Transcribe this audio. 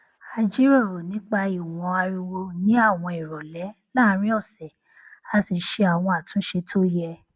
a jọ jíròrò nipa ìwọn ariwo ní àwọn ìròlé láàárín òsè a sì ṣe àwọn àtúnṣe tó yẹ